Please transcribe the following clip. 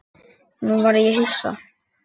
Nú varð ég hissa.